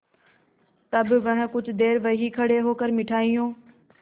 तब वह कुछ देर वहीं खड़े होकर मिठाइयों